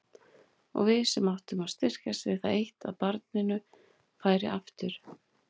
Og við sem áttum að styrkjast við það eitt að barninu færi aftur.